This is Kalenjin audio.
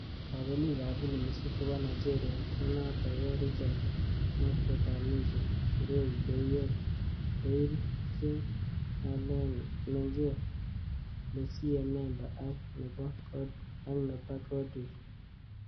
Kabelik ab filimishek chebo Nigeria ne notok ko Richard Mofe-Damijo, Ireti Doyle Jing, Alenne Menget, Lucie Memba ak Neba Godwill.